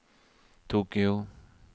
Tokyo